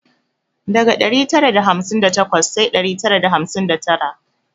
Daga dari tara da hamsin da takwas sai dari tara da hamsin da tara